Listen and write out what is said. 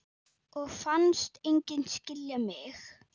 Og fannst enginn skilja mig.